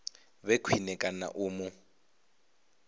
vhe khwine kana u mu